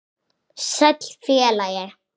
Sæll, félagi